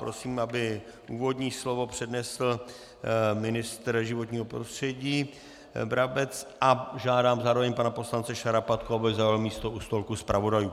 Prosím, aby úvodní slovo přednesl ministr životního prostředí Brabec, a žádám zároveň pana poslance Šarapatku, aby zaujal místo u stolku zpravodajů.